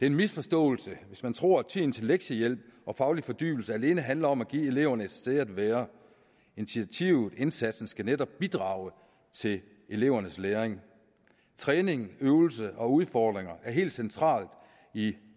en misforståelse hvis man tror at tiden til lektiehjælp og faglig fordybelse alene handler om at give eleverne et sted at være initiativet indsatsen skal netop bidrage til elevernes læring træning øvelse og udfordringer er helt centralt i